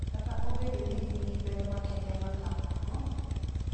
Kata obedo ni gin gi ber makende ma kamago,